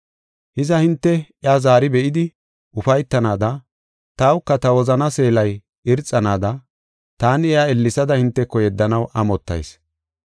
Hiza, hinte iya zaari be7idi ufaytanaada tawuka ta wozanaa seelay irxanaada taani iya ellesada hinteko yeddanaw amottayis.